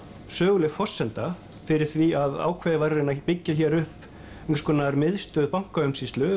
söguleg forsenda fyrir því að ákveðið var að byggja hér upp einhvers konar miðstöð